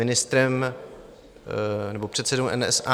Ministrem nebo předsedou NSA...